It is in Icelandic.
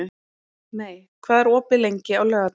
Mey, hvað er opið lengi á laugardaginn?